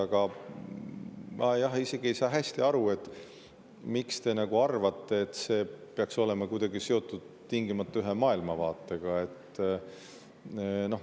Aga ma isegi ei saa hästi aru, miks te arvate, et see peaks olema kuidagi seotud tingimata ühe maailmavaatega.